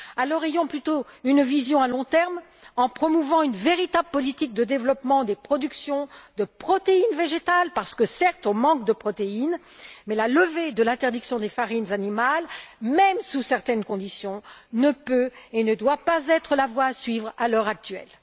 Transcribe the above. Alors, ayons plutôt une vision à long terme, en promouvant une véritable politique de développement des productions de protéines végétales parce que, certes, on manque de protéines, mais la levée de l'interdiction des farines animales, même sous certaines conditions, ne peut et ne doit pas être la voie à suivre à l'heure actuelle.